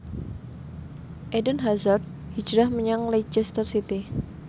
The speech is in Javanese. Eden Hazard hijrah menyang Leicester City